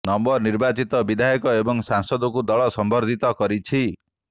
ନବ ନିର୍ବାଚିତ ବିଧାୟକ ଏବଂ ସାଂସଦଙ୍କୁ ଦଳ ସମ୍ବର୍ଦ୍ଧିତ କରିଛି